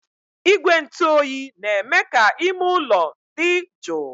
Igwe ntụ oyi na-eme ka ime ụlọ dị jụụ